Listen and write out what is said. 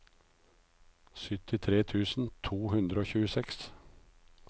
syttitre tusen to hundre og tjueseks